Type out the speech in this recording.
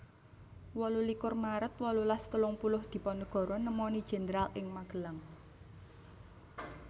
wolu likur maret wolulas telung puluh Diponegoro nemoni Jenderal ing Magelang